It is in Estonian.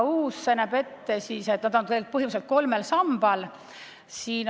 Uus konventsioon näeb ette tuginemise kolmele sambale.